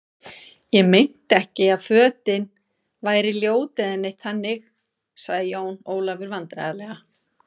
Ég meinti ekki að fötin væri ljót eða neitt þannig, sagði Jón Ólafur vandræðalega.